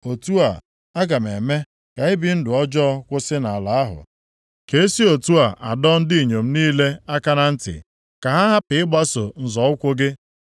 “Otu a, aga m eme ka ibi ndụ ọjọọ kwụsị nʼala ahụ, ka esi otu a adọ ndị inyom niile aka na ntị, ka ha hapụ ịgbaso nzọ ụkwụ gị.